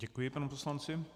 Děkuji panu poslanci.